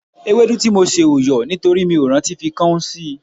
Ewédú tí mo sè ò yọ̀ nítorí mi ò rántí fi káún sí l